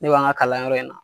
Ne b'an ga kalanyɔrɔ in na